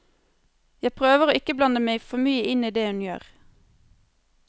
Jeg prøver å ikke blande meg for mye inn i det hun gjør.